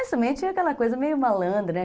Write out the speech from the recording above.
Mas também tinha aquela coisa meio malandra, né?